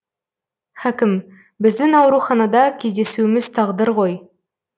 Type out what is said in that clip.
хәкім біздің ауруханада кездесуіміз тағдыр ғой